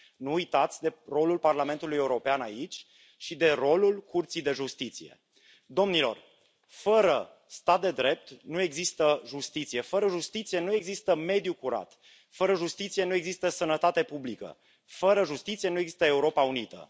Nu uitați de rolul Parlamentului European aici și de rolul Curții de Justiție. Domnilor, fără stat de drept nu există justiție, fără justiție nu există mediu curat, fără justiție nu există sănătate publică, fără justiție nu exista Europa unită.